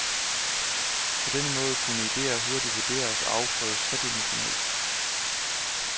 På denne måde kunne idéer hurtigt vurderes og afprøves tredimensionelt.